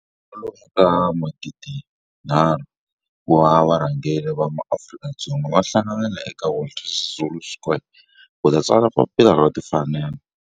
Kwalomu ka magidi nharhu, 3 000, wa varhangeri va maAfrika-Dzonga va hlanganile eka Walter Sisulu Square ku ta tsala Papila ra Timfanelo.